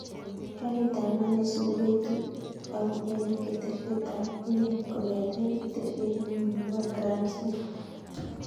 Karit ab maat neisubu koitu au en keteshet ab union kongeten keteshet newoo nebo grand central